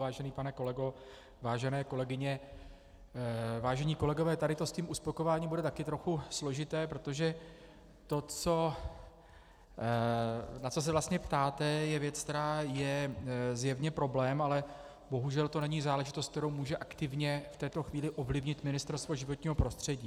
Vážený pane kolego, vážené kolegyně, vážení kolegové, tady to s tím uspokojováním bude taky trochu složité, protože to, na co se vlastně ptáte, je věc, která je zjevně problém, ale bohužel to není záležitost, kterou může aktivně v této chvíli ovlivnit Ministerstvo životního prostředí.